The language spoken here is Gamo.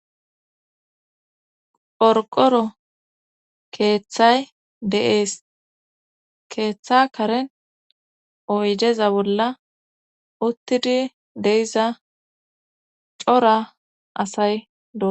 qorqoro keeththay de7es keeththa karen oydeza bolla uttidi deiza coora asay do